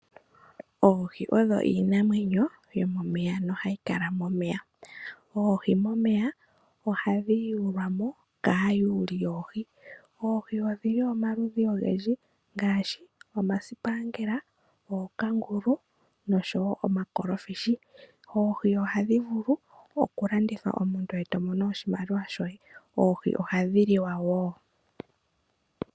Oohii odho Iinamwenyo yomomeya nohayi kala momeya, oohii momeya ohadhi yulwamo kayuuli yoohi , oohii odhili omaludhi ongendji ngashi omasipangela, ookangulu noshowo omakolofishi, oohii ohadhivulu okulandithwa omuntu oto mono oshimaliwa shoye oohii ohadhiliwa wo.